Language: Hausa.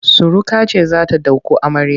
Suruka ce za ta ɗauko amarya.